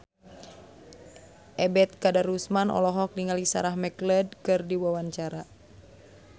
Ebet Kadarusman olohok ningali Sarah McLeod keur diwawancara